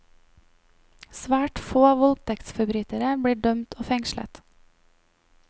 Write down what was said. Svært få voldtektsforbrytere blir dømt og fengslet.